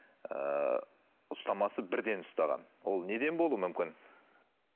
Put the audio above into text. ыыы ұстамасы бірден ұстаған ол неден болуы мүмкін